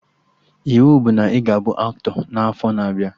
Iwu bụ na ị ga-abụ aktọ n'afọ na abịa!